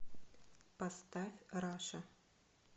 поставь раша